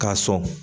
K'a sɔn